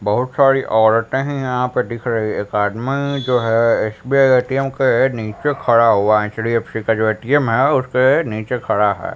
बहुत सारी औरतें हैं यहाँ पे दिख रही एक आदमी जो है एस_बी_आई ए_टी_एम के नीचे खड़ा हुआ है एच_डी_एफ_सी का जो ए_टी_एम है उसके नीचे खड़ा है।